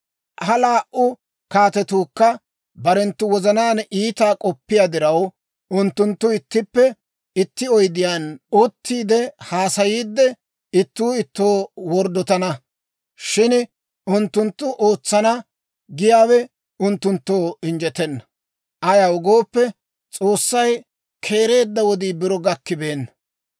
Ha laa"u kaatetuukka barenttu wozanaan iitaa k'oppiyaa diraw, unttunttu ittippe itti oydiyaan uttiide haasayiidde, ittuu ittoo worddotana. Shin unttunttu ootsana giyaawe unttunttoo injjetenna; ayaw gooppe, S'oossay keereedda wodii biro gakkibeenna.